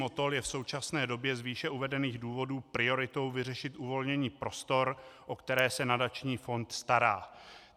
Motol je v současné době z výše uvedených důvodů prioritou vyřešit uvolnění prostor, o které se nadační fond stará.